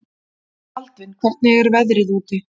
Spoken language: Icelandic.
Baldvin, hvernig er veðrið úti?